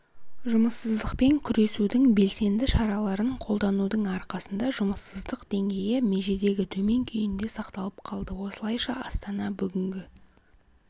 жұмыссыздықпен күресудің белсенді шараларын қолданудың арқасында жұмыссыздық деңгейі межедегі төмен күйінде сақталып қалды осылайша астана бүгінгі